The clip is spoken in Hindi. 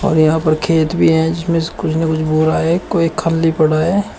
और यहां पर खेत भी हैं जिसमें कुछ न कुछ हैं कोई खाली पड़ा है।